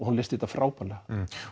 hún leysti þetta frábærlega